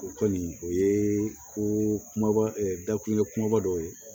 O kɔni o ye ko kumaba dakulu ye kumaba dɔ ye